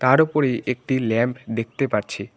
তার ওপরে একটি ল্যাব দেখতে পাচ্ছি।